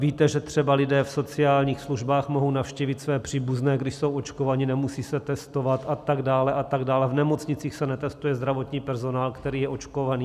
Víte, že třeba lidé v sociálních službách mohou navštívit své příbuzné, když jsou očkovaní, nemusí se testovat a tak dále a tak dále, v nemocnicích se netestuje zdravotní personál, který je očkovaný.